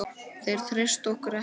Þeir treysta okkur ekki lengur.